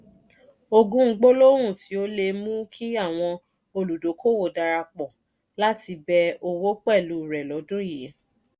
ogún gbólóhùn tí o le è mú kí àwọn olùdókòwò darapọ̀ láti bẹ owò pẹ̀lú rẹ lọ́dún yii